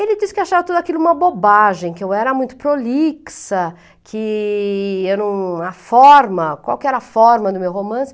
Ele diz que achava tudo aquilo uma bobagem, que eu era muito prolixa, que era uma forma, qual que era a forma do meu romance.